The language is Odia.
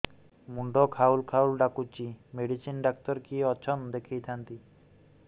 ମୁଣ୍ଡ ଖାଉଲ୍ ଖାଉଲ୍ ଡାକୁଚି ମେଡିସିନ ଡାକ୍ତର କିଏ ଅଛନ୍ ଦେଖେଇ ଥାନ୍ତି